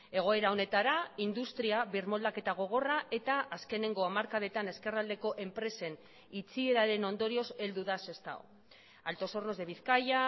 egoera honetara industria birmoldaketa gogorra eta azkeneko hamarkadetan ezkerraldeko enpresen itxieraren ondorioz heldu da sestao altos hornos de bizkaia